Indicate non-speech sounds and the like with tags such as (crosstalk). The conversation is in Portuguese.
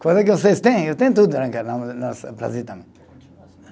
Coisa que vocês têm, eu tenho tudo (unintelligible) Brasil também.